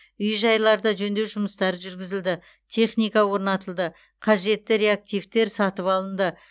үй жайларда жөндеу жұмыстары жүргізілді техника орнатылды қажетті реактивтер сатып алынды